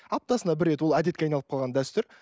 аптасына бір рет ол әдетке айналып қалған дәстүр